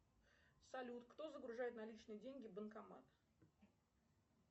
салют кто загружает наличные деньги в банкомат